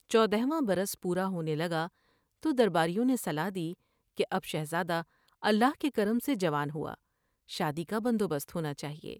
چودھواں برس پورا ہونے لگا تو درباریوں نے صلاح دی کہ اب شہزادہ اللہ کے کرم سے جوان ہوا ، شادی کا بندوبست ہونا چا ہیے ۔